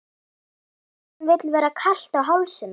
Hverjum vill vera kalt á hálsinum?